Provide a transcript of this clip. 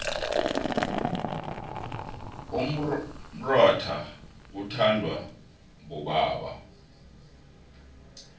umrotha uthondwa bobaba